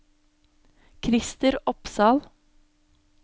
Christer Opsahl